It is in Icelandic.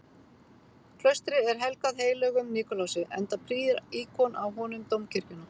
Klaustrið er helgað heilögum Nikulási, enda prýðir íkon af honum dómkirkjuna.